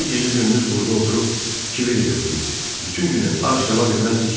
Axı o gecə-gündüz burda oturub Kibveri gözləyirdi, bütün günü ac qala bilməzdi ki.